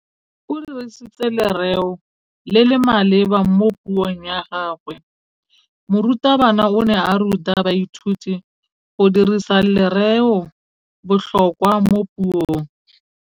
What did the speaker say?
O dirisitse lerêo le le maleba mo puông ya gagwe. Morutabana o ne a ruta baithuti go dirisa lêrêôbotlhôkwa mo puong.